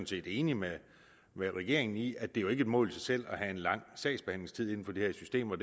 set enige med regeringen i at det jo ikke mål i sig selv at have en lang sagsbehandlingstid inden for det her system og